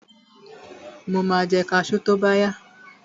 Mo ma jẹ kaṣú tóbáyá.